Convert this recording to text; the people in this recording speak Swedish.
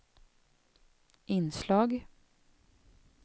inslag